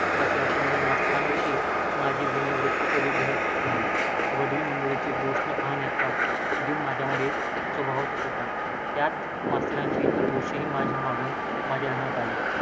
असे असूनही मास्तरांविषयीची माझी विनयवृत्ति कधीच ढळली नाही. वडील मंडळीचे दोष न पाहण्याचा गुण माझ्यामध्ये स्वभावतःच होता. त्याच मास्तरांचे इतर दोषही मागाहून माझ्या ध्यानात आले.